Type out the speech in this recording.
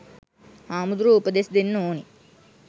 හාමුදුරුවො උපදෙස් දෙන්න ඕනෙ